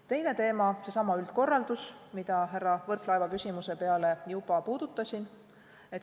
Teine teema, seesama üldkorraldus, mida härra Võrklaeva küsimusele vastates juba puudutasin.